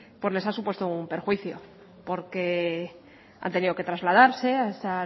pues les ha supuesto un perjuicio porque han tenido que trasladarse a ese